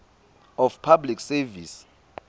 of public service